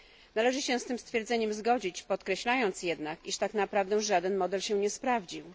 Należy się z tym stwierdzeniem zgodzić, podkreślając jednak, iż tak naprawdę żaden model się nie sprawdził.